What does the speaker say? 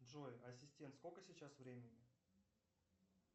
джой ассистент сколько сейчас времени